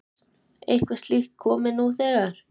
Hjördís: Eitthvað slíkt komið nú þegar?